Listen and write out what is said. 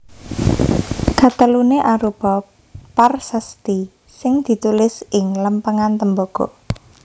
Kateluné arupa parsasti sing ditulis ing lempengan tembaga